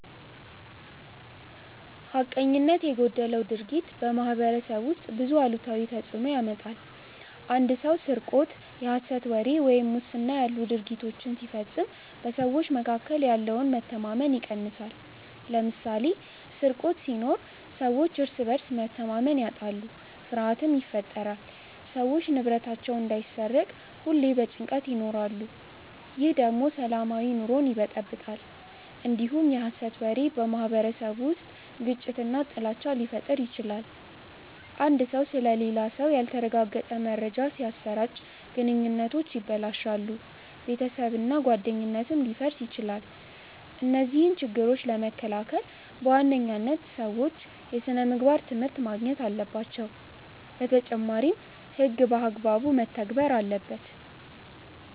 ሐቀኝነት የጎደለው ድርጊት በማኅበረሰብ ውስጥ ብዙ አሉታዊ ተፅዕኖ ያመጣል። አንድ ሰው ስርቆት፣ የሐሰት ወሬ ወይም ሙስና ያሉ ድርጊቶችን ሲፈጽም በሰዎች መካከል ያለውን መተማመን ይቀንሳል። ለምሳሌ፦ ስርቆት ሲኖር ሰዎች እርስ በርስ መተማመን ያጣሉ፣ ፍርሃትም ይፈጠራል። ሰዎች ንብረታቸው እንዳይሰረቅ ሁሌ በጭንቀት ይኖራሉ። ይህ ደግሞ ሰላማዊ ኑሮን ይበጠብጣል። እንዲሁም የሐሰት ወሬ በማኅበረሰቡ ውስጥ ግጭትና ጥላቻ ሊፈጥር ይችላል። አንድ ሰው ስለሌላ ሰው ያልተረጋገጠ መረጃ ሲያሰራጭ ግንኙነቶች ይበላሻሉ፣ ቤተሰብና ጓደኝነትም ሊፈርስ ይችላል። እነዚህን ችግሮች ለመከላከል በዋናነት ሰዎች የሥነምግባር ትምህርት ማግኘት አለባቸው። በተጨማሪም ሕግ በአግባቡ መተግበር አለበት።